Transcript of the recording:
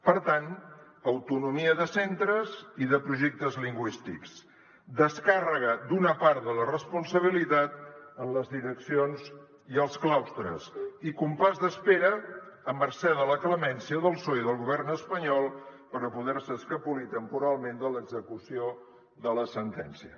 per tant autonomia de centres i de projectes lingüístics descàrrega d’una part de la responsabilitat en les direccions i els claustres i compàs d’espera a mercè de la clemència del psoe i del govern espanyol per a poder se escapolir temporalment de l’execució de la sentència